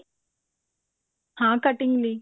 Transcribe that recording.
ਹਾਂ cutting ਨੀ